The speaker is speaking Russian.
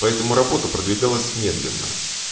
поэтому работа продвигалась медленно